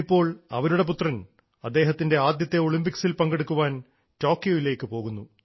ഇന്നിപ്പോൾ അവരുടെ പുത്രൻ അദ്ദേഹത്തിൻറെ ആദ്യത്തെ ഒളിമ്പിക്സിൽ പങ്കെടുക്കാൻ ടോക്കിയോയിലേക്ക് പോകുന്നു